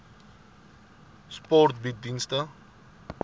sport bied dienste